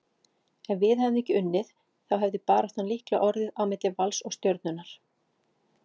Ef við hefðum ekki unnið þá hefði baráttan líklega orðið á milli Vals og Stjörnunnar,